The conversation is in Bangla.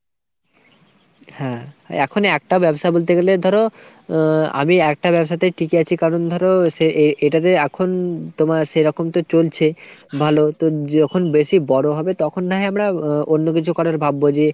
হ্যাঁ এখন একটা ব্যবসা বলতে গেলে ধরো আ আমি একটা ব্যবসাতেই টিকে আছি কারণ ধরো সে এটাতে এখন ধরো তোমার সেরকম তো চলছে ভালো তো যখন বেশি যখন বড়ো হবে তখন না হয় আমরা অন্য কিছু করার ভাববো যে